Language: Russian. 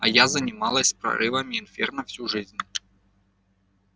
а я занималась прорывами инферно всю жизнь